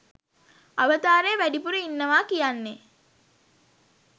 අවතාරය වැඩිපුර ඉන්නවා කියන්නේ.